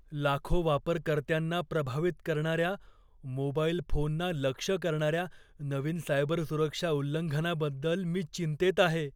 लाखो वापरकर्त्यांना प्रभावित करणार्या, मोबाईल फोनना लक्ष्य करणार्या नवीन सायबरसुरक्षा उल्लंघनाबद्दल मी चिंतेत आहे.